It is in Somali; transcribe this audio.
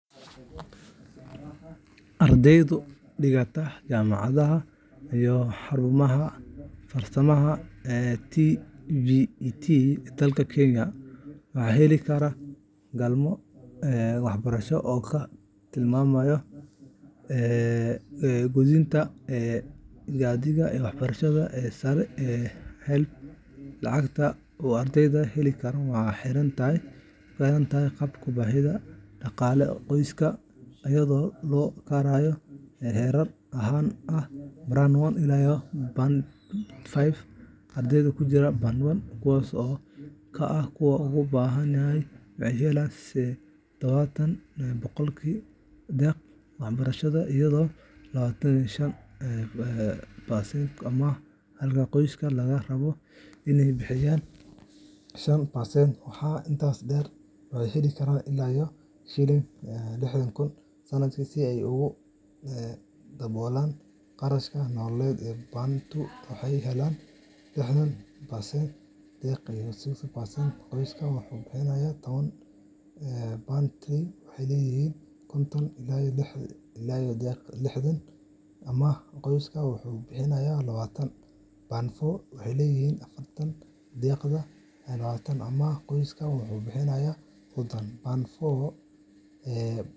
Ardayda dhigata jaamacadaha iyo xarumaha farsamada TVETka ee dalka Kenya waxay heli karaan kaalmo waxbarasho oo ka timaadda Guddiga Amaahda Waxbarashada Sare HELB. Lacagta uu ardaygu heli karo waxay ku xiran tahay heerka baahida dhaqaale ee qoyskiisa iyadoo loo kala saaro heerar shan ah Ardayda ku jira Band 1, kuwaas oo ah kuwa ugu baahan, waxay helayaan 70% deeq waxbarasho iyo 25% amaah, halka qoysaskooda laga rabo inay bixiyaan 5%.Waxaa intaas dheer, waxay heli karaan ilaa Ksh. 60,000 sanadkii si ay ugu daboolaan kharashaadka nolosha. Band laba waxay helayaan lixdan deeq iyo sodon amaah, qoyska wuxuu bixiyaa.